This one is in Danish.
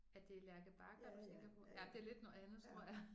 Er det Lærke Bagger du tænker på? Ja det er lidt noget andet tror jeg